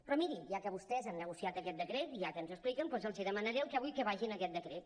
però miri ja que vostès han negociat aquest decret i ja que ens ho expliquen doncs els demanaré el que vull que vagi en aquest decret